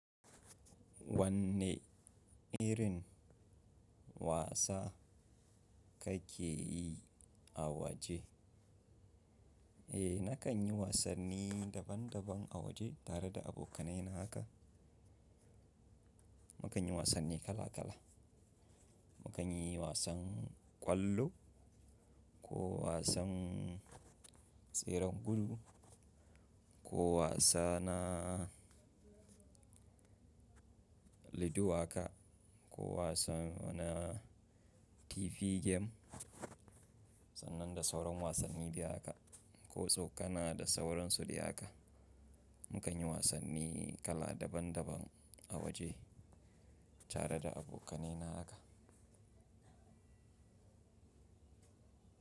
Wanne irin wasa kake yi a waje? Eh, na kan yi wasanni daban daban a waje tare da abokanai na haka. Mu kan yi wasanni kala kala. Mu kan yi wasan ƙwallo, ko wasan tseren gudu, ko wasa na lido haka, ko wasan wanan TV game, sannan da sauran wasanni biyu haka. Ko tsokana da sauran su dai haka. Mu kan yi wasanni kala daban daban a waje tare da abokanai na haka.